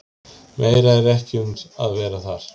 Meira er ekki um að vera þar.